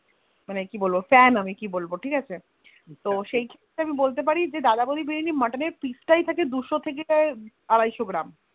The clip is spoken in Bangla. মানে কি বলবো Fan আমি মানে কি বলবো তো সে ক্ষেত্রে আমি বলতে পারি যে দাদা বৌদির বিরিয়ানি তে Muttoner piece তাই থাকে দুশো থেকে আড়াইশো গ্রাম